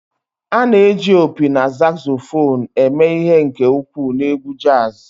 A na-eji opi na saxophone eme ihe nke ukwuu na egwu jazz